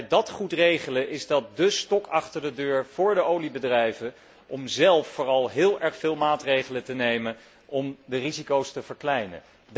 Als we dat goed regelen, is dat dé stok achter de deur voor de oliebedrijven om vooral zelf heel veel maatregelen te nemen om de risico's te verkleinen.